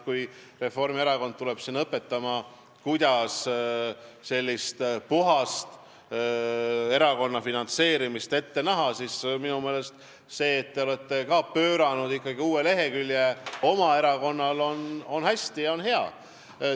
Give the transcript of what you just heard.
Kui Reformierakond tuleb õpetama, kuidas erakonna puhast finantseerimist ette näha, siis minu meelest see, et teie erakond on pööranud ikkagi uue lehekülje, on hea.